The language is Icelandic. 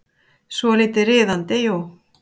Svolítið riðandi, jú.